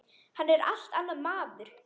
Hann er allt annar maður.